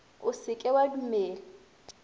o se ke wa dumela